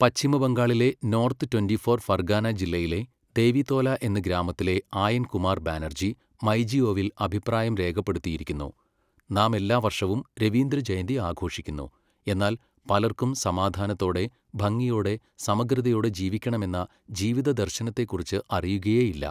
പശ്ചിമബംഗാളിലെ north twenty four Pargana ജില്ലയിലെ ദേവിതോല എന്ന ഗ്രാമത്തിലെ ആയൻ കുമാർ ബാനർജി മൈജിഒവിൽ അഭിപ്രായം രേഖപ്പെടുത്തിയിരിക്കുന്നു. നാം എല്ലാ വർഷവും രവീന്ദ്രജയന്തി ആഘോഷിക്കുന്നു, എന്നാൽ പലർക്കും സമാധാനത്തോടെ, ഭംഗിയോടെ, സമഗ്രതയോടെ ജീവിക്കണമെന്ന ജീവിതദർശനത്തെക്കുറിച്ച് അറിയുകയേയില്ല.